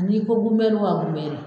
N'i ko bunbɛni wa bunbɛni.